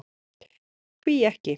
Hví ekki.